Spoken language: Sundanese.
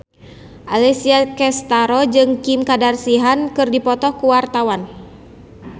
Alessia Cestaro jeung Kim Kardashian keur dipoto ku wartawan